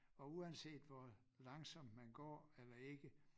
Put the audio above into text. Og uanset hvor langsomt man går eller ikke